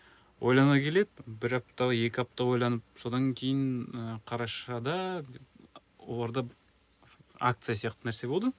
ойлана келе бір апта екі апта ойланып содан кейін ы қарашада оларда акция сияқты нәрсе болды